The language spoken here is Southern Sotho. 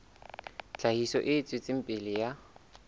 tlhahiso e tswetseng pele ya